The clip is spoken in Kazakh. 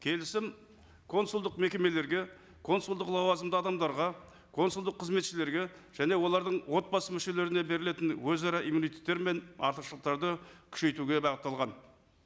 келісім консулдық мекемелерге консулдық лауазымды адамдарға консулдық қызметшілерге және олардың отбасы мүшелеріне берілетін өзара иммунитеттері мен артықшылықтарды күшейтуге бағытталған